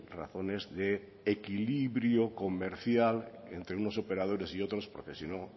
razones de equilibrio comercial entre unos operadores y otros porque si no